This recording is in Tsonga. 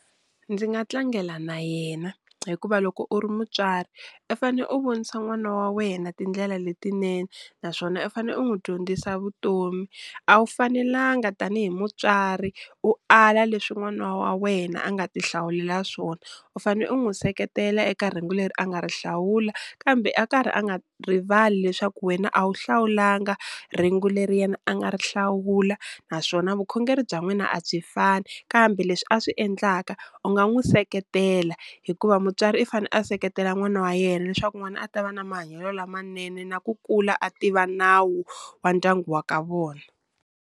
Ndzi nga tlangela na yena hikuva loko u ri mutswari i fane u vonisa n'wana wa wena tindlela letinene, naswona i fane u n'wu dyondzisa vutomi. A wu fanelanga tanihi mutswari u ala leswi n'wana wa wena a nga ti hlawulela swona, u fane u n'wu seketela eka rhengu leri a nga ri hlawula, kambe a karhi a nga rivali leswaku wena a wu hlawulanga rhengu leri yena a nga ri hlawula, naswona vukhongeri bya n'wina a byi fani kambe leswi a swi endlaka u nga n'wu seketela hikuva mutswari i fane a seketela n'wana wa yena leswaku n'wana a ta va na mahanyelo lamanene na ku kula a tiva nawu wa ndyangu wa ka vona.